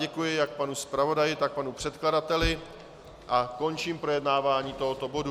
Děkuji jak panu zpravodaji, tak panu předkladateli a končím projednávání tohoto bodu.